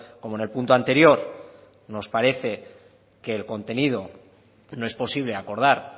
como en el punto anterior nos parece que el contenido no es posible acordar